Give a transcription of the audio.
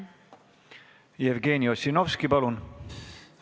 Jevgeni Ossinovski, palun!